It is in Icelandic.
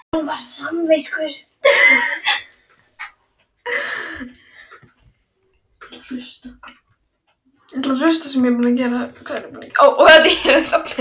Ættingjar og búið-að-koma-sér-fyrir-fólk lagði hart að þeim að kaupa.